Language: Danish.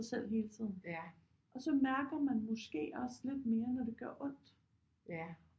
Sig selv hele tiden og så mærker man måske også lidt mere når det gør ondt